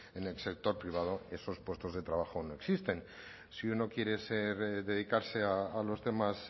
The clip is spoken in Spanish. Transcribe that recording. en el sector privado esos puestos de trabajo no existen si uno quiere ser dedicarse a los temas